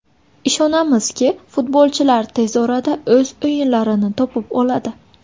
Ishonamizki, futbolchilar tez orada o‘z o‘yinlarini topib oladi.